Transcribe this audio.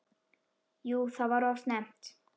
Jú það var of snemmt.